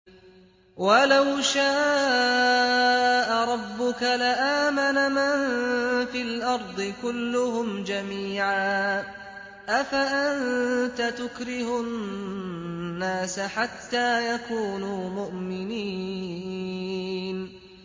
وَلَوْ شَاءَ رَبُّكَ لَآمَنَ مَن فِي الْأَرْضِ كُلُّهُمْ جَمِيعًا ۚ أَفَأَنتَ تُكْرِهُ النَّاسَ حَتَّىٰ يَكُونُوا مُؤْمِنِينَ